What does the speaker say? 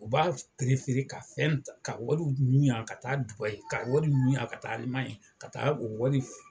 U b'a perefere ka fɛn ka wariw ɲun yan ka taa dubayi ka wari ɲun yan ka taa alimanɲi ka taa o wari